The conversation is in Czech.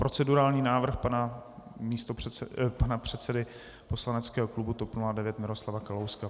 Procedurální návrh pana předsedy poslaneckého klubu TOP 09 Miroslava Kalouska.